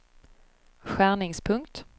skärningspunkt